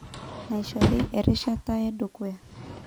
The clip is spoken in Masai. Naishori erishata edukuya.